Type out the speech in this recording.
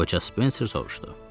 Qoca Spencer soruşdu.